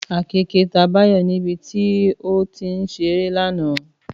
Àkekèé ta Báyọ̀ níbi tí ó ti ń ṣeré lánàá